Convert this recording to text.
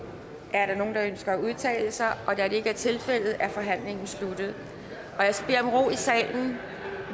er der nogen der ønsker at udtale sig da det ikke er tilfældet er forhandlingen sluttet jeg i salen